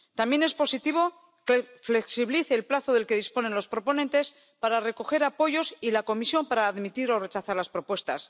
También es positivo que se flexibilice el plazo del que disponen los proponentes para recoger apoyos y la Comisión para admitir o rechazar las propuestas.